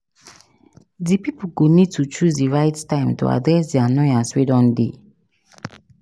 Di pipo go need to choose di right time to address di annoyance wey don dey